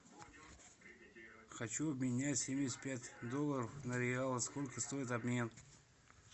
хочу обменять семьдесят пять долларов на реалы сколько стоит обмен